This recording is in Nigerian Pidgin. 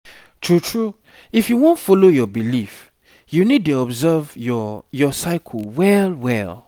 true true if you wan follow your belief you need dey observe your your cycle well well